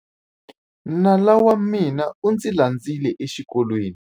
Nala wa mina u ndzi landzile exikolweni.